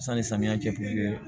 Sanni samiyɛ cɛ kun